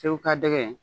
Segu ka dɛgɛ